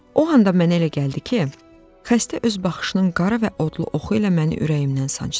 O anda mənə elə gəldi ki, xəstə öz baxışının qara və odlu oxu ilə məni ürəyimdən sancdı.